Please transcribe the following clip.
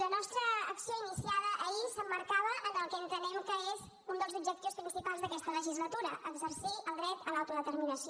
la nostra acció iniciada ahir s’emmarcava en el que entenem que és un dels objectius principals d’aquesta legislatura exercir el dret a l’autodeterminació